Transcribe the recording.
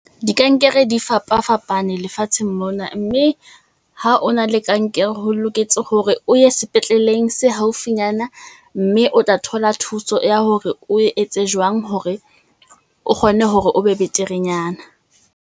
Di kankere di fapafapane lefatsheng mona, mme ha o na le kankere, ho loketse hore o ye sepetleleng se haufinyana. Mme o tla thola thuso ya hore o etse jwang hore o kgone hore o be beterenyana.